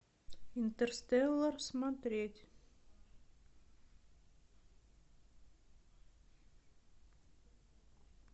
интерстеллар смотреть